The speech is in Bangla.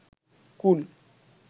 কুল